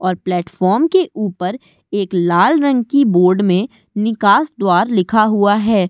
और प्लेटफार्म के ऊपर एक लाल रंग की बोर्ड में निकास द्वार लिखा हुआ है।